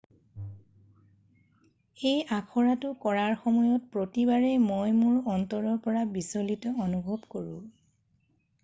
"""এই আখৰাটো কৰাৰ সময়ত প্ৰতিবাৰেই মই মোৰ অন্তৰৰ পৰা বিচলিত অনুভৱ কৰোঁ।.""